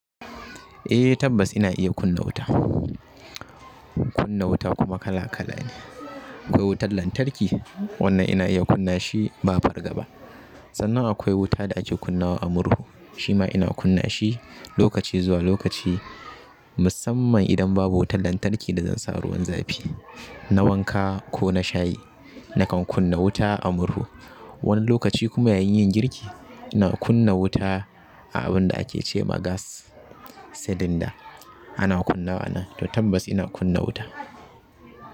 Eh tabbas ina iya kunna wuta, kunna wuta kuma kala-kala ne. Akwai wutar lantarki, wannan ina iya kunna shi ba farga ba. Sannan akwai wuta da ake kunna wa a murhu, shima ina kunna shi lokaci zuwa lokaci musamman idan babu wutar lantarki da zan sa ruwan zafi, na wanka ko na shayi, nakan kunna wuta a murhu. Wani lokaci kuma yayin yin girki, ina kunna wuta a abun da ake ce ma gas cylinder. Ana kunna wa nan to tabbas ina kunna wuta.